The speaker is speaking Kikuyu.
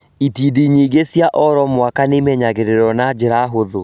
Itindiĩ nyingĩ cia oro mwaka nĩimenyagĩrĩrwo na njĩra hũthũ